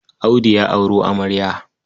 Audu ya auro amarya.